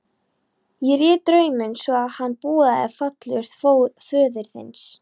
Ég réð drauminn svo að hann boðaði fall föður þíns.